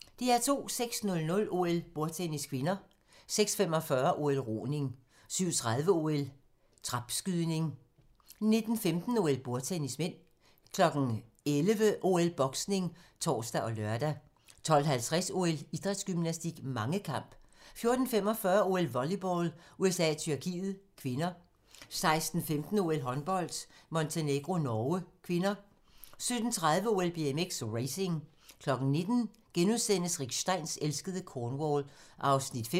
06:00: OL: Bordtennis (k) 06:45: OL: Roning 07:30: OL: Trapskydning 09:15: OL: Bordtennis (m) 11:00: OL: Boksning (tor og lør) 12:50: OL: Idrætsgymnastik, mangekamp 14:45: OL: Volleyball - USA-Tyrkiet (k) 16:15: OL: Håndbold - Montenegro-Norge (k) 17:30: OL: BMX, racing 19:00: Rick Steins elskede Cornwall (5:15)*